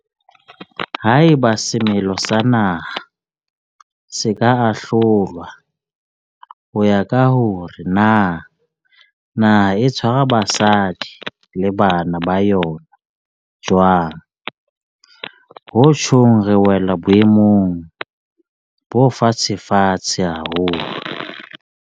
Haeba semelo sa naha se ka ahlolwa ho ya ka hore na naha e tshwara basadi le bana ba yona jwang, ho tjhong re wela boemong bo fatshefatshe haholo.